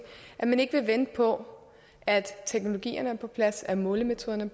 at man ikke vil vente på at teknologierne er på plads at målemetoderne